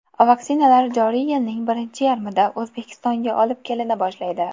Vaksinalar joriy yilning birinchi yarmida O‘zbekistonga olib kelina boshlaydi.